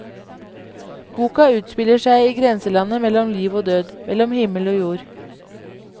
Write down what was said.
Boka utspiller seg i grenselandet mellom liv og død, mellom himmel og jord.